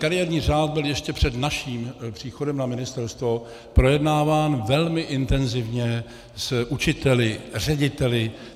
Kariérní řád byl ještě před naším příchodem na ministerstvo projednáván velmi intenzivně s učiteli, řediteli.